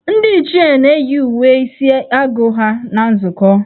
Ndị Ichie na-eyi uwe isi agụ ha na nzukọ.